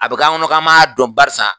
A bɛ k'an kɔnɔ kan ma dɔn barisa.